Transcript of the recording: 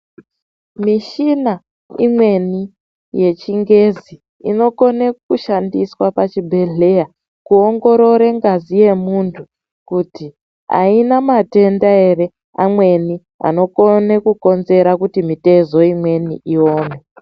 Mishina imweni yechingezi inokone kushandiswa pachibhedhleya kuongorore ngazi yemuntu kuti aina matenda ere amweni anokone kukonzera kuti mitezo imweni iome.